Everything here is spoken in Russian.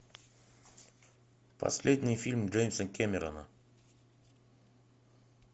последний фильм джеймса кэмерона